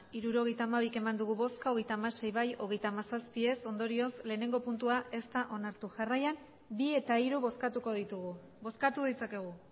hirurogeita hamabi eman dugu bozka hogeita hamasei bai hogeita hamazazpi ez ondorioz lehenengo puntua ez da onartu jarraian bi eta hiru bozkatuko ditugu bozkatu ditzakegu